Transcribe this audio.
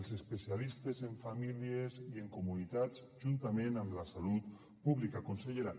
els especialistes en famílies i en comunitats juntament amb la salut pública consellera